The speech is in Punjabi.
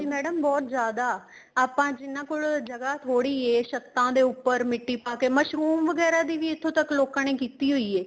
madam ਬਹੁਤ ਜਿਆਦਾ ਆਪਾਂ ਜਿਹਨਾ ਕੋਲ ਜਗ੍ਹਾ ਥੋੜੀ ਏ ਛੱਤਾਂ ਦੇ ਉੱਪਰ ਮਿੱਟੀ ਪਾਕੇ ਮਸਰੂਮ ਵਗੈਰਾ ਦੀ ਵੀ ਇੱਥੋ ਤੱਕ ਲੋਕਾਂ ਨੇ ਕੀਤੀ ਹੋਈ ਏ